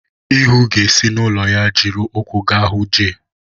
Ihuu ga-esi n'ụlọ ya jiri ụkwụ gaa hụ Jay.